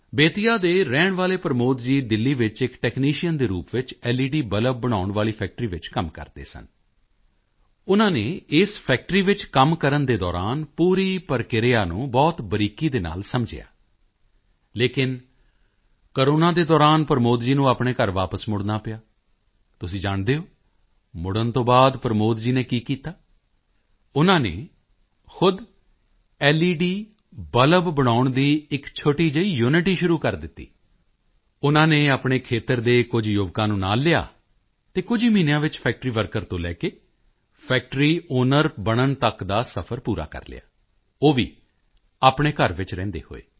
ਬੇਤੀਆ ਦੇ ਰਹਿਣ ਵਾਲੇ ਪ੍ਰਮੋਦ ਜੀ ਦਿੱਲੀ ਵਿੱਚ ਇੱਕ ਟੈਕਨੀਸ਼ੀਅਨ ਦੇ ਰੂਪ ਵਿੱਚ ਲੇਡ ਬਲਬ ਬਣਾਉਣ ਵਾਲੀ ਫੈਕਟਰੀ ਵਿੱਚ ਕੰਮ ਕਰਦੇ ਸਨ ਉਨ੍ਹਾਂ ਨੇ ਇਸ ਫੈਕਟਰੀ ਵਿੱਚ ਕੰਮ ਕਰਨ ਦੌਰਾਨ ਪੂਰੀ ਪ੍ਰਕਿਰਿਆ ਨੂੰ ਬਹੁਤ ਬਰੀਕੀ ਨਾਲ ਸਮਝਿਆ ਲੇਕਿਨ ਕੋਰੋਨਾ ਦੇ ਦੌਰਾਨ ਪ੍ਰਮੋਦ ਜੀ ਨੂੰ ਆਪਣੇ ਘਰ ਵਾਪਿਸ ਮੁੜਨਾ ਪਿਆ ਤੁਸੀਂ ਜਾਣਦੇ ਹੋ ਮੁੜਨ ਤੋਂ ਬਾਅਦ ਪ੍ਰਮੋਦ ਜੀ ਨੇ ਕੀ ਕੀਤਾ ਉਨ੍ਹਾਂ ਨੇ ਖੁਦ ਲੇਡ ਬਲਬ ਬਣਾਉਣ ਦੀ ਇੱਕ ਛੋਟੀ ਜਿਹੀ ਯੂਨਿਟ ਹੀ ਸ਼ੁਰੂ ਕਰ ਦਿੱਤੀ ਉਨ੍ਹਾਂ ਨੇ ਆਪਣੇ ਖੇਤਰ ਦੇ ਕੁਝ ਯੁਵਕਾਂ ਨੂੰ ਨਾਲ ਲਿਆ ਅਤੇ ਕੁਝ ਹੀ ਮਹੀਨਿਆਂ ਵਿੱਚ ਫੈਕਟਰੀ ਵਰਕਰ ਤੋਂ ਲੈ ਕੇ ਫੈਕਟਰੀ ਆਊਨਰ ਬਣਨ ਤੱਕ ਦਾ ਸਫਰ ਪੂਰਾ ਕਰ ਲਿਆ ਉਹ ਵੀ ਆਪਣੇ ਘਰ ਵਿੱਚ ਰਹਿੰਦੇ ਹੋਏ